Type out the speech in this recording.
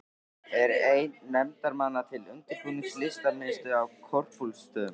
Er einn nefndarmanna til undirbúnings Listamiðstöð á Korpúlfsstöðum.